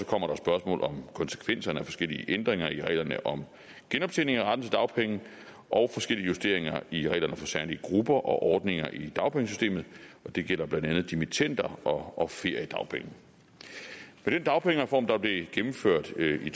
kommer der spørgsmål om konsekvenserne af forskellige ændringer i reglerne om genoptjening af retten til dagpenge og forskellige justeringer i reglerne for særlige grupper og ordninger i dagpengesystemet det gælder blandt andet dimittender og feriedagpenge med den dagpengereform der blev gennemført i